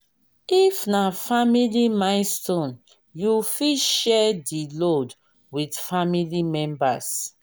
if na family milestone you fit share di load with family members